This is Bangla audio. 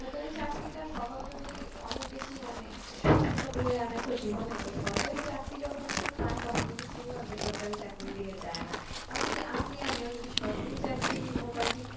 সরকারি চাকরিটা সবার জন্যই অনেক বেশি মানে সুবিধা বয়ে আনে তো জীবনে তো সরকারি চাকরি যখন কেউ পায় তখন কিন্তু কেউ আর বেসরকারি চাকরির দিকে যায় না এমনকি আপনি আমিও যদি সরকারি চাকরি মোটামুটি